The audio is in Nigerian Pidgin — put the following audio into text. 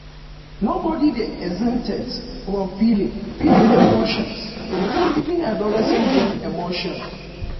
no body dey exempted from feeling feeling emotions even adolescent get emotion